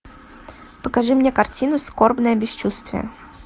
покажи мне картину скорбное бесчувствие